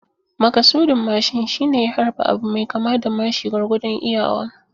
Makasudin mashin shine ya harba abu mai kama da mashi gwargwadon iyawa.